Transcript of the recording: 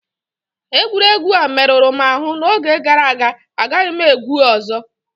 Egwuregwu a merụrụ m ahụ n'oge gàrà aga, agaghị m egwu a ọzọ